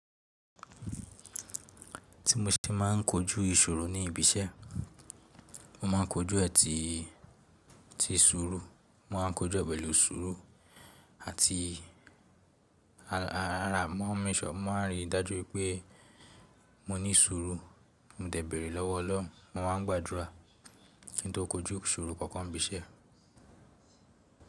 Tí mo ṣe ma n kojú ìṣòro ní ibi iṣẹ́, mo ma n kojú ẹtì ti sùúrù, mo ma n kojú pẹ̀lú sùúrù àti ara, mo ma n rí i dájú pé mo ní sùúrù, mo dẹ̀bẹ̀rẹ̀ lọ́wọ́ Ọlọ́run, mo ma n gbàdúrà kí n tó kojú ìṣòro kankan ibi iṣẹ́.